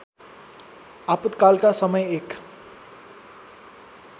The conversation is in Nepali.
आपतकालका समय एक